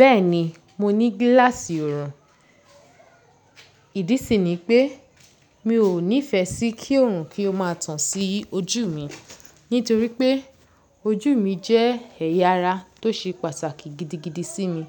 Bẹ́ẹ̀ni, mo ní gíláàsì ọ̀rùn. Ìdí sì ni pé mi ò nífẹ sí kí oòrùn kí ó má tán sí ojú mi. Nítorí pé ojú mi jẹ́ ẹ̀yà ara tó ṣe pàtàkì gidigidi sí mi.